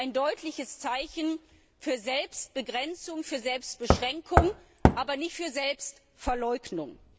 Also auch da ein deutliches Zeichen für Selbstbegrenzung, für Selbstbeschränkung, aber nicht für Selbstverleugnung.